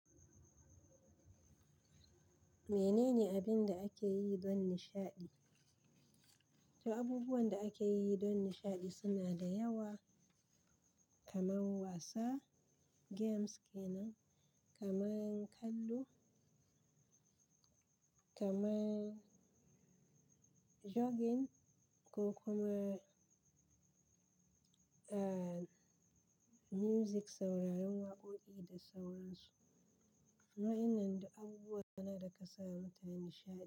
Menene abin da ake yi don nishaɗi? To abubuwan da ake yi don nishaɗi suna da yawwa kamar wasa, games ke nan, kamar kallo, kamar jogging ko kuma, music sauraron waƙoƙi da sauran su. Waɗannan duk abubuwa ne da ke sa mutum nishaɗi.